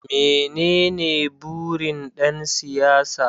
Menene burin ɗan siyasa?